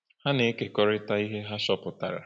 Ha na-ekekọrịta ihe ha chọpụtara.